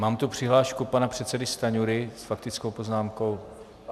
Mám tu přihlášku pana předsedy Stanjury s faktickou poznámkou.